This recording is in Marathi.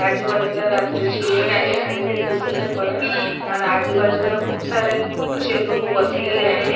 आजुबाजुला रात्रीची वेळ आहे आणि ती दिसुन नाही पडत आण आजुबाजुला खुप सारे अशे लोक बसलेले आहे.